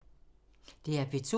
DR P2